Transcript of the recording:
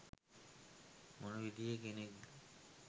මොන විදියේ කෙනෙක්ද?